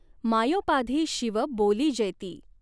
मायॊपाधी Shiva बॊलिजॆति.